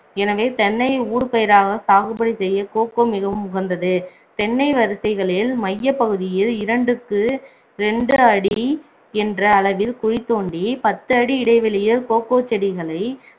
எனவே தென்னை ஊடுபயிராக சாகுபடி செய்ய கோகோ மிகவும் உகந்தது தென்னை வரிசைகளில் மையப் பகுதியில் இரண்டுக்கு ரெண்டு அடி என்ற அளவில் குழி தோண்டி பத்து அடி இடைவெளியில் கோகோ செடிகளை